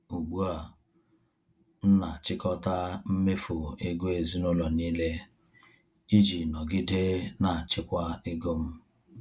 Ugbu a, m na-achịkọta mmefu ego ezinụlọ niile iji nọgide na-achịkwa ego m.